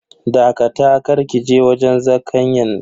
Dakata, kar kije wajen zakanyan.